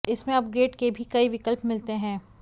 इसमें अपग्रेड के भी कई विकल्प मिलते हैं